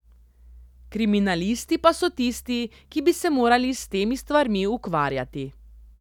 Kriminalisti pa so tisti, ki bi se morali s temi stvarmi ukvarjati.